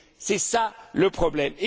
côté. C'est ça le problème.